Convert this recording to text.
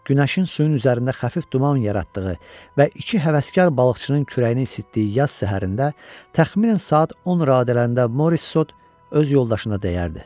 Günəşin suyun üzərində xəfif duman yaratdığı və iki həvəskar balıqçının kürəyini isitdiyi yaz səhərində təxminən saat 10 radələrində Morissot öz yoldaşına dəyərdi: